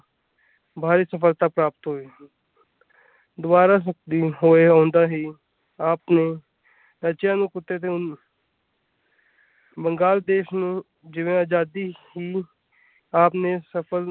ਭਾਰੀ ਸਫਲਤਾ ਪ੍ਰਾਪਤ ਹੁਈ ਦੁਬਾਰਾ ਆਪ ਨੇ ਬੰਗਾਲ ਦੇਸ਼ ਨੂੰ ਆਜ਼ਾਦੀ ਹੀ ਆਪ ਨੇ ਸਫਲ।